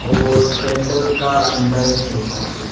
और पेंडल का अंदर है सब लोग।